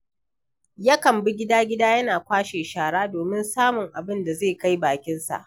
Yakan bi gida-gida, yana kwashe shara domin samun abin da zai kai bakinsa.